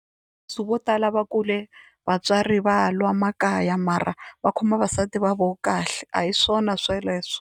Leswi vo tala va kule vatswari va lwa makaya mara va khoma vavasati va vo kahle a hi swona sweleswo.